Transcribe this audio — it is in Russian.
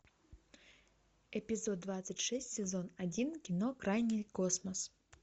эпизод двадцать шесть сезон один кино крайний космос